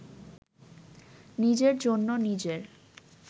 নিজের জন্য নিজের